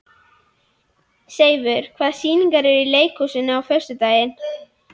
Seifur, hvaða sýningar eru í leikhúsinu á föstudaginn?